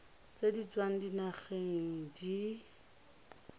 tse di tswang dinageng di